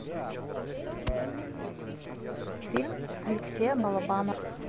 фильм алексея балабанова